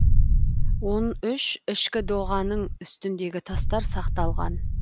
он үш ішкі доғаның үстіндегі тастар сақталған